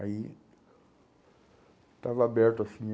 Aí, estava aberto, assim,